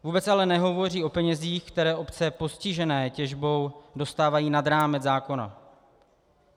Vůbec ale nehovoří o penězích, které obce postižené těžbou dostávají nad rámec zákona.